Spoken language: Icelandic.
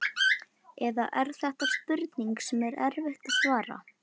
Eða er þetta spurning sem er erfitt að svara?